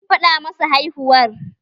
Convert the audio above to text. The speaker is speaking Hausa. Je ki fada ma su haihuwar!